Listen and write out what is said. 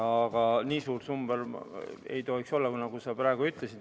Aga nii suur number ei tohiks olla, nagu sa praegu ütlesid.